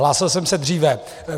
Hlásil jsem se dříve.